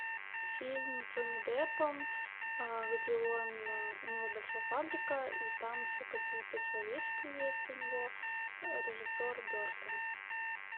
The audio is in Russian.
фильм с джонни деппом где он у него большая фабрика и там еще какие то человечки есть у него режиссер бертон